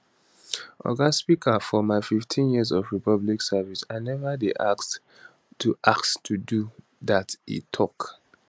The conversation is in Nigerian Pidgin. oga speaker for my 15 years of public service i neva dey asked to asked to do dat e tok